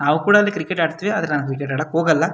ನಾವು ಕೂಡ ಅಲ್ಲಿ ಕ್ರಿಕೆಟ್ ಆಡ್ತೀವಿ ಆದ್ರೆ ನಾವು ಕ್ರಿಕೆಟ್ ಆಡೋಕೆ ಹೋಗಲ್ಲ.